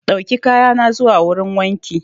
Dauki kaya na zuwa wurin wanki.